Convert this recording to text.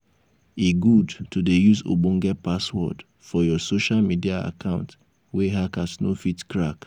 e good to dey use ogbonge password for your social media account wey hackers no fit crack.